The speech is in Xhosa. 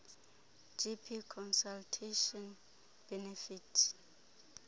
gp consultation benefit